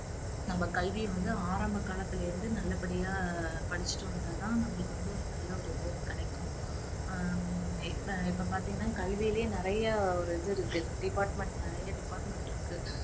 நம்ம கல்வி வந்து ஆரம்ப காலத்திலயே இருந்து நல்லபடியா படிச்சிட்டு வந்தா தான் நம்மளுக்கு வந்து நல்ல ஒரு இது கிடைக்கும் ஹம் இப்ப இப்ப பாத்தீங்கன்னா கல்வியிலே நிறைய ஒரு இது இருக்கு department நிறைய department இருக்கு